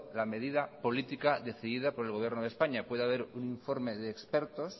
la medida política decidida por el gobierno de españa puede haber un informe de expertos